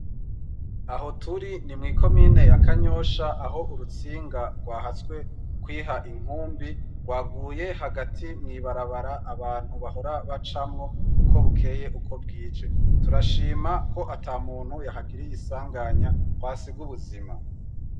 Aho turi ni mw'iko mine yakanyosha aho urutsinga rwahatswe kwiha inkumbi rwaguye hagati mwibarabara abantu bahora bacamwo uko bukeye uko bwije, turashima ko ata muntu yahagiriye isanganya kwasi ga ubuzima.